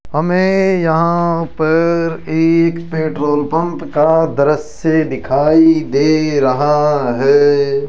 हमे यहां पर एक पेट्रोल पंप का दृश्य दिखाई दे रहा है।